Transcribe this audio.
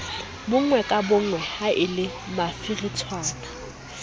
bonngwe ka bonngwe haele mafiritshwana